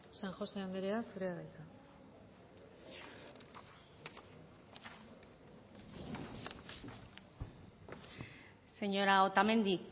san josé anderea zurea da hitza señora otamendi